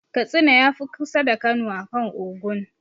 Katsina ya fi kusa da Kano akan Ogun.